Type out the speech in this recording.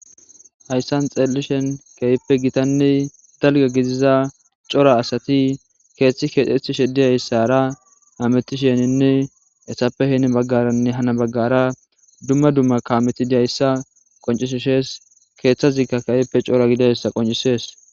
Hayssan xeellishen keyppe gitanne dalga gidiza cora asati keeththi keexethi sheddiyayssara hametisheninne ettappe heni baggaranne hana baggara dumma dumma kaametidiayssa qoncisishees keeththazikka kayeppe cora gidayssa qoncisees.